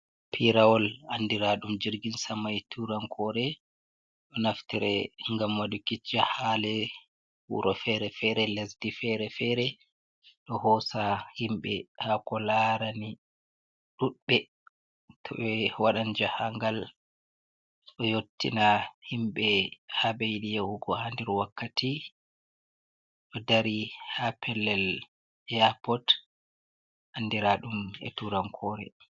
Pirawol andira ɗum jirgin sama e turankore ɗo naftire gam waduki jahale ha lewuro fere-fere, lesdi fere-fere, ɗo hosa himɓe ha ko larani ɗuɗɓe to waɗan jahangal ɗo yottina himɓɓe ha ɓe yidi yahugo ha nder wakkati ɗo dari ha pellel eapot andira ɗum e turankore.